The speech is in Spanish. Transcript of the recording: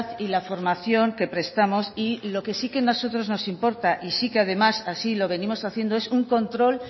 y la formación que prestamos y lo que sí que a nosotros nos importa y sí que además así lo venimos haciendo es un control